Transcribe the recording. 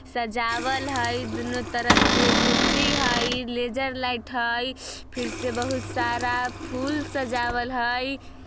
सजावल हैई दोनों तरफ से कुर्सी हय लेजर लाइट हैई| फिर से बहुत सारा फूल सजावल हैई।